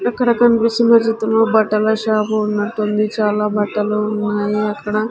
అక్కడ కనిపిస్తున్న చిత్రంలో బట్టల షాపు ఉన్నట్టుంది చాలా బట్టలు ఉన్నాయి అక్కడ --